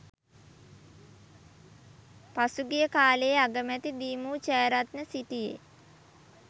පසුගිය කාලයේ අගමැති දී.මු ජයරත්න සිටියේ